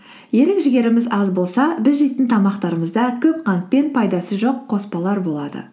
ерік жігеріміз аз болса біз жейтін тамақтарымызда көп қант пен пайдасы жоқ қоспалар болады